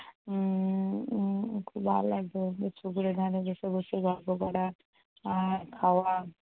উম উম খুব ভালো লাগতো। পুকুরের ধারে বসে বসে গল্প করা আর খাওয়া